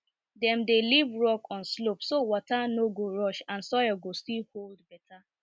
dem dey leave rock on slope so water no go rush and soil go still hold better